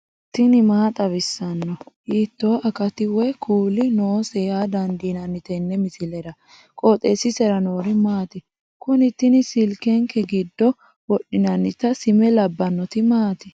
tini maa xawissanno ? hiitto akati woy kuuli noose yaa dandiinanni tenne misilera? qooxeessisera noori maati? kuni tini silkenke giddo wodhinannita sime labbannoti maati